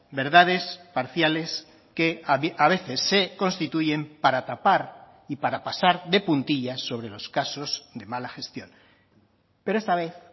verdades parciales que a veces se constituyen para tapar y para pasar de puntillas sobre los casos de mala gestión pero esta vez